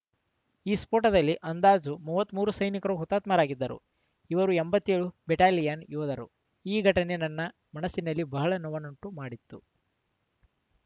ಈ ಸ್ಫೋಟದಲ್ಲಿ ಅಂದಾಜು ಮೂವತ್ತ್ ಮೂರು ಸೈನಿಕರು ಹುತಾತ್ಮರಾಗಿದ್ದರು ಇವರು ಎಂಬತ್ತೆಳು ನೇ ಬೆಟಾಲಿಯನ್‌ ಯೋಧರು ಈ ಘಟನೆ ನನ್ನ ಮನಸ್ಸಿನಲ್ಲಿ ಬಹಳ ನೋವುಂಟುಮಾಡಿತ್ತು